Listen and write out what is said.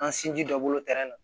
An sinji dɔ bolo na